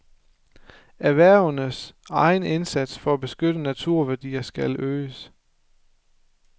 Erhvervenes egen indsats for at beskytte naturværdier skal øges.